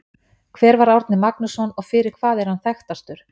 Hver var Árni Magnússon og fyrir hvað er hann þekktastur?